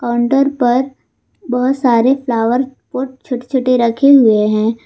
Counter पर बहुत सारे फ्लावर पॉट छोटे छोटे रखे हुए हैं।